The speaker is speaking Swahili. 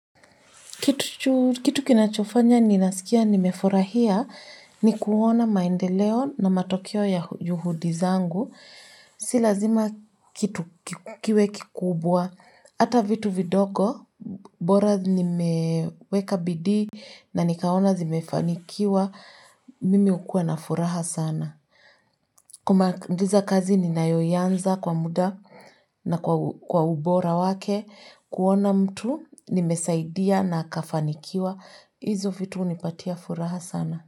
Kitu kinachofanya ni nasikia nimefurahia ni kuona maendeleo na matokeo ya yuhudi zangu. Si lazima kitu kiwe kikubwa. Hata vitu vidogo, bora ni meweka bidii na nikaona zimefanikiwa, mimi hukua na furaha sana. Kumaliza kazi ni nayoiyanza kwa muda na kwa ubora wake. Kuona mtu, nimesaidia na akafanikiwa. Hizo vitu hunipatia furaha sana.